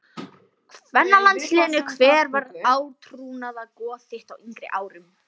kvennalandsliðinu Hver var átrúnaðargoð þitt á yngri árum?